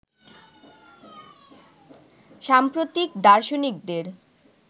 সাম্প্রতিক দার্শনিকদের